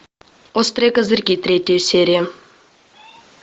острые козырьки третья серия